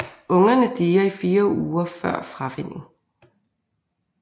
Ungerne dier i fire uger før fravænning